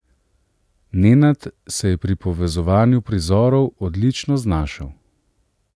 Nenad se je pri povezovanju prizorov odlično znašel.